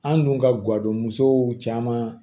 An dun ka guwadon musow caman